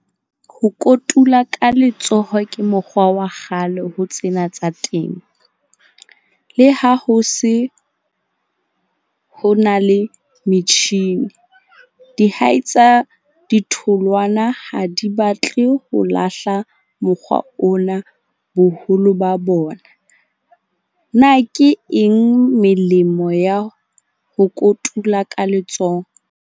Ho kotula ka letsoho ke mokgwa wa kgale ho tsena tsa temo. Le ha ho se ho na le metjhini dihai tsa ditholwana, ha di batle ho lahla mokgwa ona boholo ba bona. Na ke eng melemo ya ho kotula ka letsoho?